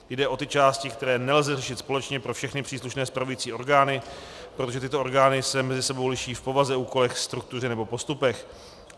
Jde o ty části, které nelze řešit společně pro všechny příslušné spravující orgány, protože tyto orgány se mezi sebou liší v povaze, úkolech, struktuře nebo postupech.